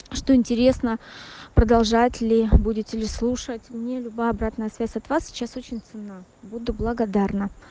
что интересно продолжать ли будите ли слушать мне либая обратная связь от вас сейчас очень ценна буду благодарна